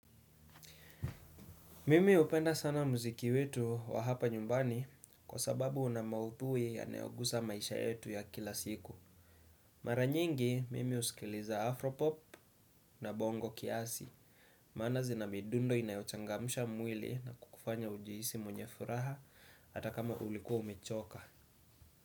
Mimi hupenda sana muziki wetu wa hapa nyumbani kwa sababu una mauthui yanayogusa maisha yetu ya kila siku. Mara nyingi, mimi husikiliza Afropop na bongo kiasi. Maana zina midundo inayochangamsha mwili na kukufanya ujihisi mwenye furaha hata kama ulikuwa umechoka.